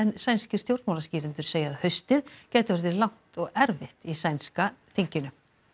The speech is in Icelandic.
sænskir stjórnmálaskýrendur segja að haustið gæti orðið langt og erfitt í sænska þinginu